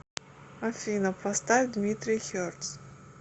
афина поставь дмитрий хертс